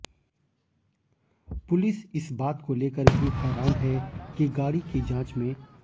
police इस बात को लेकर भी हैरान है कि गाड़ी की जांच में